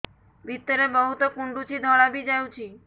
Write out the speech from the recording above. ଭିତରେ ବହୁତ କୁଣ୍ଡୁଚି ଧଳା ବି ଯାଉଛି